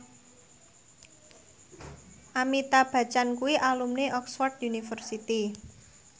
Amitabh Bachchan kuwi alumni Oxford university